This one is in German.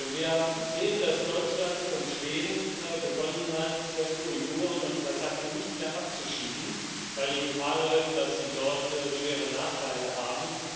Wir sehen, dass Deutschland und Schweden begonnen haben, Uiguren und Kasachen nicht mehr abzuschieben, weil sie Gefahr laufen, dass sie dort schwere Nachteile haben.